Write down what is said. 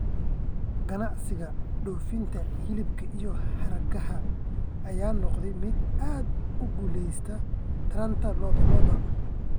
Ganacsiga dhoofinta hilibka iyo hargaha ayaa noqday mid aad u guuleystey taranta lo'da lo'da.